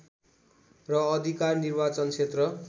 र अधिकार निर्वाचन क्षेत्र